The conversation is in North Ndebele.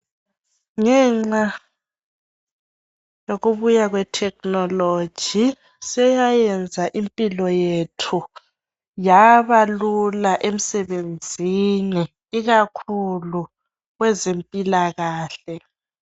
Ngenxa yokubuya kwe thekhinoloji seyayenza impilo yethu yaba lula emsebenzini ikakhulu kwezempilakahle.